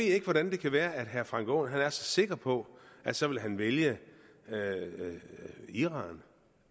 jeg ikke hvordan det kan være at herre frank aaen er så sikker på at så vil han vælge iran